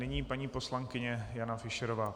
Nyní paní poslankyně Jana Fischerová.